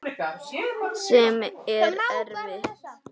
Sem er erfitt.